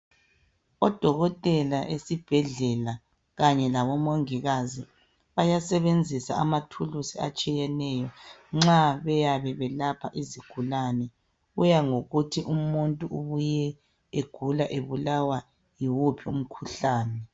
Odokotela esibhedlela kanye labomongikazi, bayasebenzisa amathuluzi atshiyeneyo, nxa beyayabe belapha izigulane. Kuya ngokuthi umuntu ubuye egula, ebulawa yiwuphi umkhuhlane.